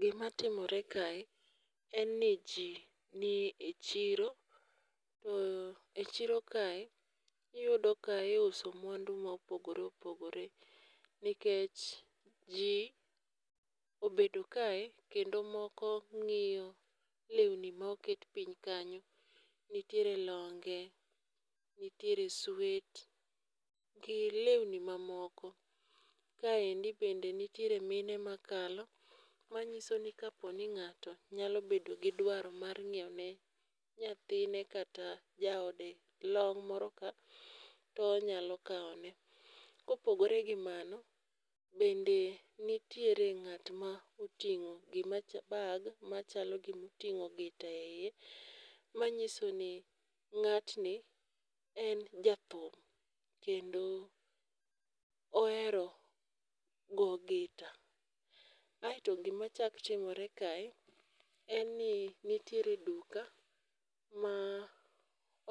Gi ma timore kae en ni ji nie e chiro to e chiro kae iyudo ka iuso mwandu ma opogore opogore nikech ji obedo kae kendo moko ng'iyo lewni ma oket piny kanyo . Nitiere longe, nitiere swet gi lewni ma moko kaend be nitiere mine ma kalo ma ng'iso ni ka po ni ng'ato nyalo bedo gi dwaro mar ng'iewo ne nyathine kata jaode long' moro ka to onyalo kawo ne. Ka opogore gi mano bende nitiere ng'at ma otingo bag ma chalo gi ma otingo gita e iye ma ng'iso ni ng'at ni en ja thum kendo ohero go gita, aito gi ma chak timre kae en ni nitire duka ma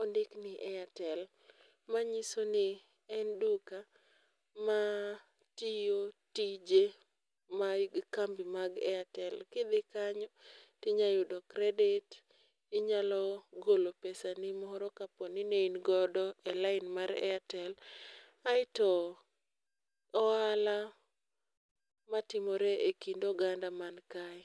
ondik ni airtel, ma ng'iso en duka ma tiyo tije mag kambi mag airtel. Ki idhi kanyo ti inyalo yudo kredit inyalo golo pesa ni moro ka po ni ne in godo e lain mar airtel .Aito ohala ma timre e kind oganda man kae.